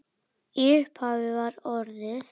Í upphafi var orðið